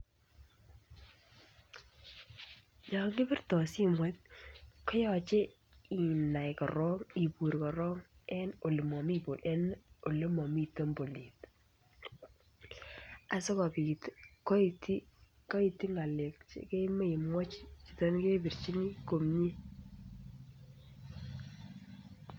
Yon kibirtoi simet koyache inai korook ibuur korok en olemomite bolet. Asikobiit kait ng'alek chekakemwach chito nekebirchini komie.